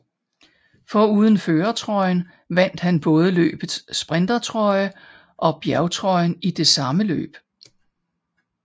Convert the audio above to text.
Foruden førertrøjen vandt han både løbets sprintertrøje og bjergtrøjen i det samme løb